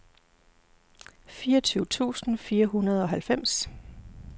fireogtyve tusind fire hundrede og halvfems